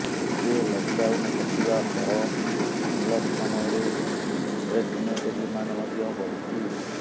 ଏବେ ଲକଡାଉନ୍ ହଟିବା ସହ ଅନଲକ୍ ସମୟରେ ଇନଭେଷ୍ଟମେଣ୍ଟ ଡିମାଣ୍ଡ ମଧ୍ୟ ବଢିଛି